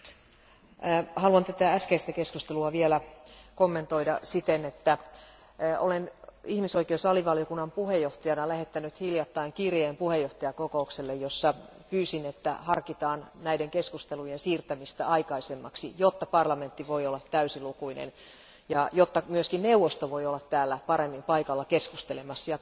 Arvoisa puhemies, haluan kommentoida tätä äskeistä keskustelua vielä kommentoida siten, että olen ihmisoikeusalivaliokunnan puheenjohtajana lähettänyt hiljattain kirjeen puheenjohtajakokoukselle, jossa pyysin harkitsemaan näiden keskustelujen siirtämistä aikaisemmaksi, jotta parlamentti voi olla täysilukuinen ja jotta myös neuvosto voi olla täällä paremmin paikalla keskustelemassa.